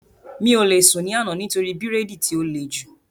Mi ò lè sùn ní àná nítorí bírèèdì tí ó le jù